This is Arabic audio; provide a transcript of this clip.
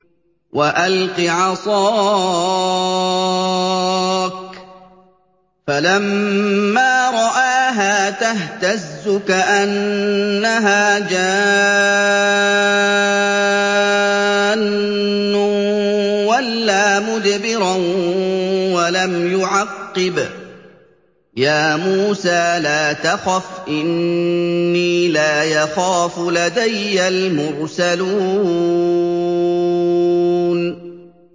وَأَلْقِ عَصَاكَ ۚ فَلَمَّا رَآهَا تَهْتَزُّ كَأَنَّهَا جَانٌّ وَلَّىٰ مُدْبِرًا وَلَمْ يُعَقِّبْ ۚ يَا مُوسَىٰ لَا تَخَفْ إِنِّي لَا يَخَافُ لَدَيَّ الْمُرْسَلُونَ